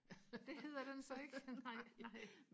det hedder den så ikke nej nej